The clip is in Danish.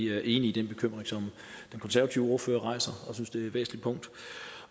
er enige i den bekymring som den konservative ordfører rejser